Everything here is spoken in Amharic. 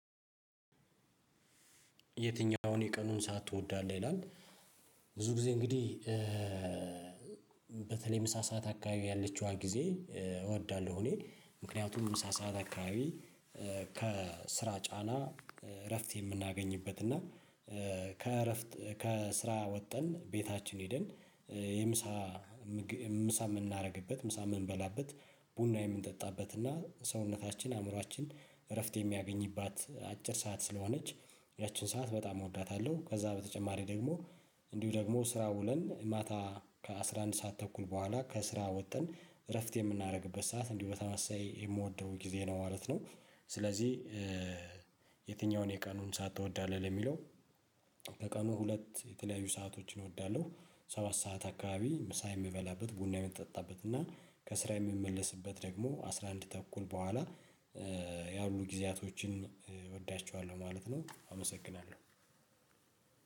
የትኛውን የቀኑን ሰዓት ትወዳለህ ይላል? ብዙ ጊዜ እንግዲህ በተለይ ምሳ ሰዓት አካባቢ ያለችዋ ጊዜ እወዳለሁ። እኔ ምክንያቱም ምሳ ሰዓት አካባቢ ከስራ ጫና እረፍት የምናገኝበት እና ከእረፍት ከስራ ወጠን ቤታችን ሄደን የምሳ ምሳ የምናደርግበት ምሳ የምንበላበት ቡና የምንጠጣበት እና ሰውነታችን አእምሮአችን እረፍት የሚያገኝባት አጭር ሰዓት ስለሆነች ያቺን ሰዓት በጣም እወዳታለሁ። ከዛ በተጨማሪ ደግሞ እንዲሁ ደግሞ ስራ ውለን ማታ ከአሥራ አንድ ሰዓት ተኩል በኋላ ከስራ ወጥተን እረፍት የምናደርግበት ሰዓት እንዲህ በተመሳሳይ የምወደው ጊዜ ነው ማለት ነው። ስለዚህ የትኛውን የቀኑን ሰዓት ትወዳለህ? ለሚለው ተቀኑ ሁለት የተለያዩ ሰአቶችን እወዳለሁ። ሰባት ሰዓት አካባቢ ምሳ የምበላበት ቡና የምጠጣበት እና ከስራ የምመለስበት ደግሞ አስራ አንድ ተኩል በኋላ ያሉ ጊዜያቶችን እወዳቸዋለሁ ማለት ነው። አመሰግናለሁ።